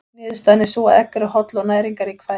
Niðurstaðan er sú að egg eru holl og næringarrík fæða.